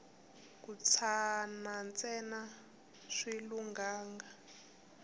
ku tshana ntsena a swi lunghanga